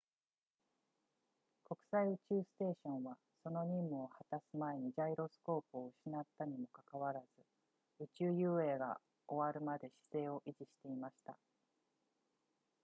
国際宇宙ステーションはその任務を果たす前にジャイロスコープを失ったにもかかわらず宇宙遊泳が終わるまで姿勢を維持していました